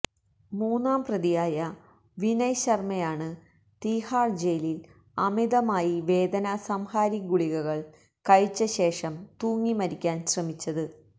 മൂന്നാം പ്രതിയായ വിനയ് ശര്മയാണ് തീഹാര് ജയിലില് അമിതമായി വേദനസംഹാരി ഗുളികകള് കഴിച്ച ശേഷം തൂങ്ങി മരിക്കാന് ശ്രമിച്ചത്